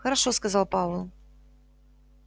хорошо сказал пауэлл